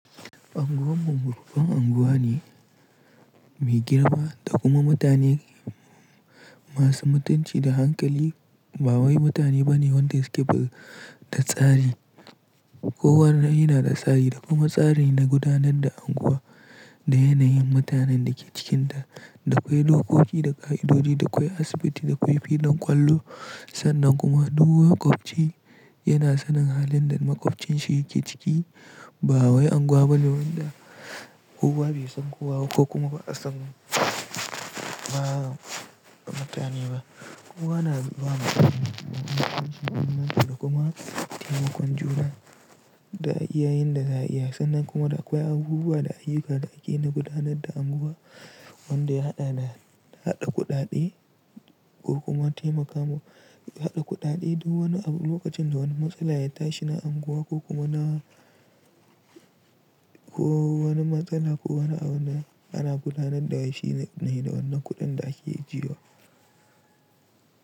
Anguwan mu babban unguwa ne mai girma da kuma mutane masu mutunci da hankali. Ba wai mutane bane wanda su keɓe da tsari. Kowane yana da tsari da kuma tsari na gudanar da unguwa da yanayin mutanen da ke cikinta. Da kwai dokoki da ƙa'idodi, da kwai asibiti, da akwai filin ƙwallo. Sannan kuma duk maƙwabci yana sanin halin da maƙwabcinshi yake ciki. Ba wai unguwa bane wadda kowa bai san kowa ba ko kuma ba'a san ba matane ba. Unguwa na zama da himma da kuma taimakon juna da iyayen da zai iya. Sannan kuma da akwai abubuwa da ayyukan da ake na gudanar da unguwa wanda ya haɗa da, haɗa kuɗaɗe ko kuma taimakawa haɗa kuɗaɗe duk wani lokacin da wani matsala ya tashi na unguwa ko kuma na, ko wani matsala ko wani abu ana gudanar da shi ne da wannan kuɗin da ake ijiyewa.